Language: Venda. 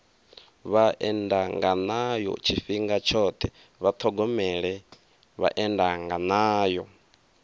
vhaendanganayo tshifhinga tshoṱhe vha ṱhogomele vhaendanganayo